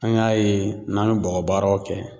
An y'a ye ,n'an be bɔgɔbaaraw kɛ